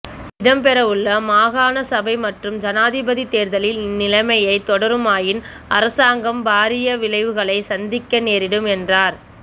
இடம் பெறவுள்ள மாகாண சபை மற்றும் ஜனாதிபதி தேர்தலில் இந்நிலைமை தொடருமாயின் அரசாங்கம் பாரிய விளைவுகளை சந்திக்க நேரிடும் என்றார்